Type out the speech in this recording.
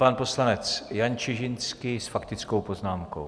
Pan poslanec Jan Čižinský s faktickou poznámkou.